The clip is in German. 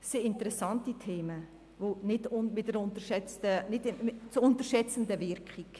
Sehr interessante Themen, die nicht zu unterschätzen sind.